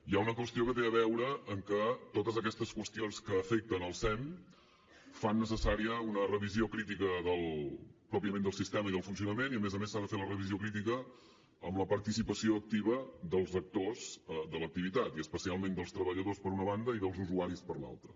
hi ha una qüestió que té a veure amb que totes aquestes qüestions que afecten el sem fan necessària una revisió crítica pròpiament del sistema i del funcionament i a més a més s’ha de fer la revisió crítica amb la participació activa dels actors de l’activitat i especialment dels treballadors per una banda i dels usuaris per l’altra